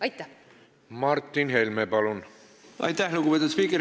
Aitäh, lugupeetud spiiker!